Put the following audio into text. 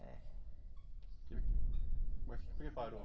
É. Mas por que parou?